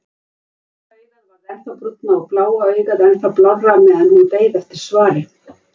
Brúna augað varð ennþá brúnna og bláa augað ennþá blárra meðan hún beið eftir svari.